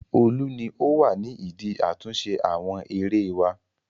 Olú ni ó wà ní ìdí àtúnṣe àwọn erée wá.